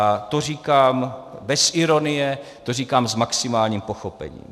A to říkám bez ironie, to říkám s maximálním pochopením.